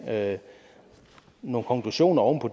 med nogle konklusioner oven på